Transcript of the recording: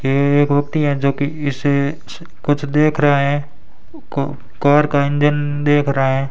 एक व्यक्ति है जोकि इसे कुछ देख रहा है क कार का इंजन देख रहा है।